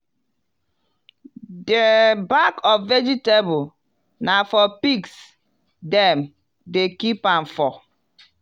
di back of vegetabale na for pigs dem dey keep am for.